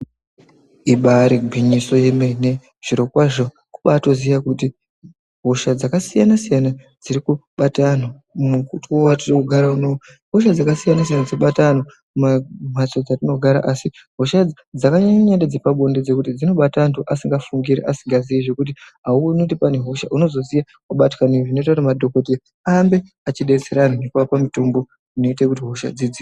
Ibaari gwinyiso yemene, zvirokwazvo kubaatoziye kuti hosha dzakasiyanasiyana dziri kubata antu mukuwo watiri kugara uno uwu ihosha dzakasiyanasiyana dzinobata antu mamacheto etinogara asi hosha idzi dzakanyanya ndedze pabonde ngekuti dzinobata anthu asingafungiri, asingaziizve ngekuti auoni kuti pane hosha unozoziya wabatwa ndiyo zvinoite kuti madhokodheya arambe eidetsera vantu ngekuvapa mutombo inoite kuti hosha dzidzi..